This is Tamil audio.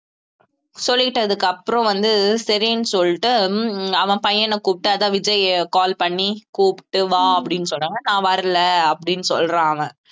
சொல்லிட்டதுக்கு அப்புறம் வந்து சரின்னு சொல்லிட்டு உம் அவன் பையன கூப்பிட்டு அதான் விஜய் call பண்ணி கூப்பிட்டு வா அப்படீன்னு சொல்றாங்க நான் வரலை அப்படீன்னு சொல்றான் அவன்